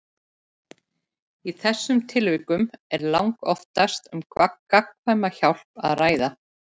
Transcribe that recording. Í þessum tilvikum er langoftast um gagnkvæma hjálp að ræða.